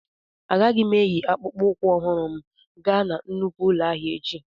Agaghị m eyi akpụkpọ ụkwụ ọhụrụ m gaa na nnukwu ụlọ ahịa echi